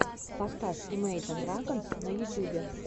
поставь имейджин драгонс на ютьюбе